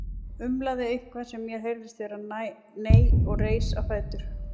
Umlaði eitthvað sem mér heyrðist vera nei og reis á fætur.